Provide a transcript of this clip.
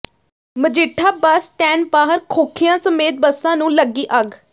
Majitha bus stand ਬਾਹਰ ਖੋਖਿਆਂ ਸਮੇਤ ਬੱਸਾਂ ਨੂੰ ਲੱਗੀ ਅੱਗ